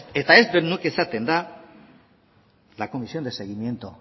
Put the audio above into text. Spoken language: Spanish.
eta ez dut nik esaten da la comisión de seguimiento